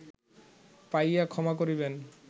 পাইয়া ক্ষমা করিবেন